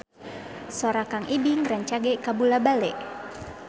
Sora Kang Ibing rancage kabula-bale